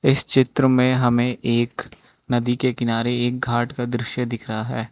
इस चित्र में हमें एक नदी के किनारे एक घाट का दृश्य दिख रहा है।